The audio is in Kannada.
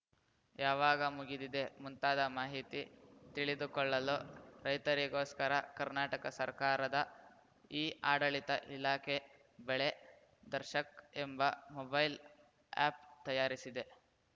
ಯಾವಾಗ ಮುಗಿದಿದೆ ಮುಂತಾದ ಮಾಹಿತಿ ತಿಳಿದುಕೊಳ್ಳಲು ರೈತರಿಗೋಸ್ಕರ ಕರ್ನಾಟಕ ಸರ್ಕಾರದ ಇಆಡಳಿತ ಇಲಾಖೆ ಬೆಳೆ ದರ್ಶಕ್‌ ಎಂಬ ಮೊಬೈಲ್‌ ಆ್ಯಪ್‌ ತಯಾರಿಸಿದೆ